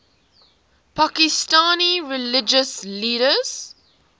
pakistani religious leaders